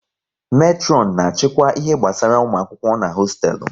Metron na achịkwa ihe gbasara ụmụ akwụkwọ n'hosteelu